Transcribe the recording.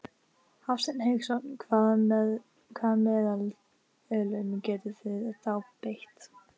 Hafsteinn Hauksson: Hvaða meðölum getið þið þá beitt?